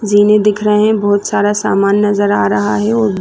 ज़ीने दिख रहे है बहोत सारा सामान नज़र आ रहा है और--